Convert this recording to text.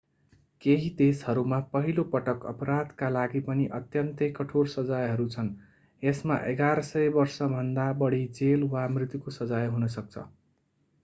केही देशहरूमा पहिलो पटक अपराधका लागि पनि अत्यन्तै कठोर सजायहरू छन् यसमा 1100 वर्षभन्दा बढी जेल वा मृत्युको सजाय हुन सक्छ